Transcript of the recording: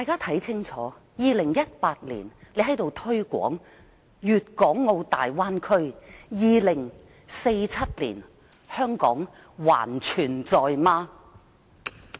看吧 ，2018 年的今天在立法會推廣粵港澳大灣區，到了2047年，香港還存在否？